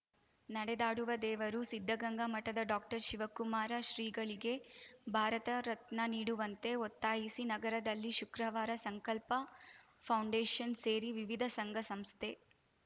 ನಡೆದಾಡುವ ದೇವರು ಸಿದ್ಧಗಂಗಾ ಮಠದ ಡಾಕ್ಟರ್ಶಿವಕುಮಾರ ಶ್ರೀಗಳಿಗೆ ಭಾರತ ರತ್ನ ನೀಡುವಂತೆ ಒತ್ತಾಯಿಸಿ ನಗರದಲ್ಲಿ ಶುಕ್ರವಾರ ಸಂಕಲ್ಪ ಫೌಂಡೇಷನ್‌ ಸೇರಿ ವಿವಿಧ ಸಂಘಸಂಸ್ಥೆ